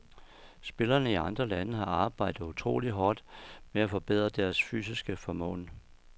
Spillerne i andre lande har arbejdet utroligt hårdt med at forbedre deres fysiske formåen.